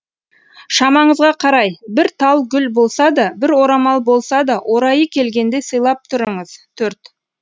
шамаңызға қарай бір тал гүл болса да бір орамал болса да орайы келгенде сыйлап тұрыңыз төрт